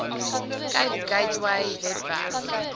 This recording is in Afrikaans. cape gateway webwerf